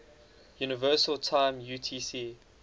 universal time utc